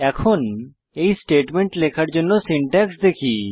এখন এই স্টেটমেন্ট লেখার জন্য সিনট্যাক্স দেখি